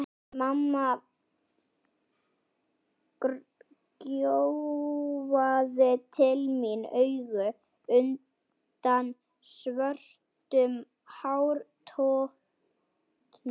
Mamma gjóaði til mín auga undan svörtum hártoppnum.